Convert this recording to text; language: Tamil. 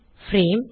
பிரேம்